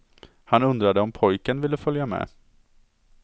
Han undrade om pojken ville följa med.